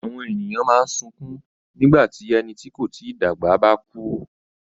Àwọn ènìyàn máa ń sunkún nígbà tí ẹni tí kò tí dàgbà bá kú.